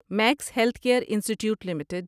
Max health care institute limited